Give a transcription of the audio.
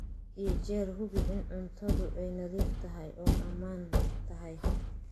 Had iyo jeer hubi in cuntadu ay nadiif tahay oo ammaan tahay.